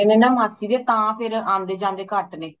ਛੋਟੇ ਨੇ ਨਾ ਮਾਸੀ ਦੇ ਤੇ ਤਾ ਫੇਰ ਆਂਦੇ ਜਾਂਦੇ ਘਟ ਨੇ